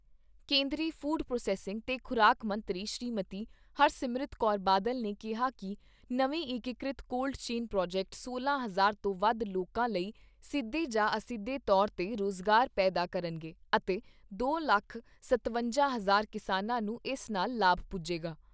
ਕੇਂਦਰੀ food processing ਤੇ ਖ਼ੁਰਾਕ ਮੰਤਰੀ ਸ੍ਰੀਮਤੀ ਹਰਸਿਮਰਤ ਕੌਰ ਬਾਦਲ ਨੇ ਕਿਹਾ ਕਿ ਨਵੇਂ ਏਕੀਕ੍ਰਿਤ ਕੋਲਡ ਚੇਨ ਪ੍ਰੋਜੈਕਟ ਸੋਲਾਂ ਹਜ਼ਾਰ ਤੋਂ ਵੱਧ ਲੋਕਾਂ ਲਈ ਸਿੱਧੇ ਜਾਂ ਅਸਿੱਧੇ ਤੌਰ 'ਤੇ ਰੁਜ਼ਗਾਰ ਪੈਦਾ ਕਰਨਗੇ ਅਤੇ ਦੋ ਲੱਖ ਸਤਵੰਜਾ ਹਜ਼ਾਰ ਕਿਸਾਨਾਂ ਨੂੰ ਇਸ ਨਾਲ ਲਾਭ ਪੁੱਜੇਗਾ।